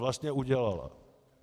Vlastně udělala.